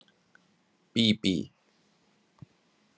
Bíbí